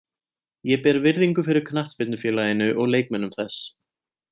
Ég ber virðingu fyrir knattspyrnufélaginu og leikmönnum þess.